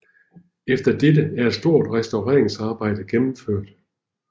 Efter dette er et stort restaureringsarbejde gennemført